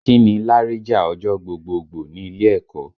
Kí ni láríjà ọjọ́ gbogboogbò ní ilé ẹ̀kọ́?